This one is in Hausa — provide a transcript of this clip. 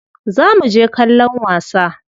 Za muje kallon wasa.